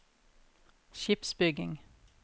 skipsbygging